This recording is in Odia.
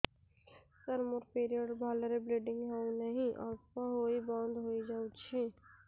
ସାର ମୋର ପିରିଅଡ଼ ରେ ଭଲରେ ବ୍ଲିଡ଼ିଙ୍ଗ ହଉନାହିଁ ଅଳ୍ପ ହୋଇ ବନ୍ଦ ହୋଇଯାଉଛି